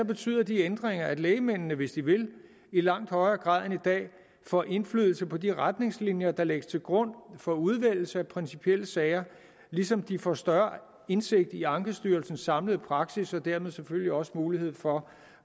betyder disse ændringer at lægmændene hvis de vil i langt højere grad end i dag får indflydelse på de retningslinjer der lægges til grund for udvælgelse af principielle sager ligesom de får større indsigt i ankestyrelsens samlede praksis og dermed selvfølgelig også mulighed for